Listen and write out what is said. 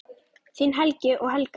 Þín Helgi og Helga.